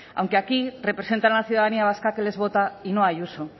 aunque aquí representan a la ciudadanía vasca que les vota y no a ayuso